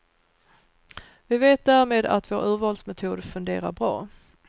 Vi vet därmed att vår urvalsmetod funderar bra.